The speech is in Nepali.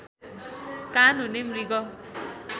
कान हुने मृग